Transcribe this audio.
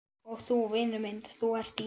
Og þú, vinur minn, ÞÚ ERT Í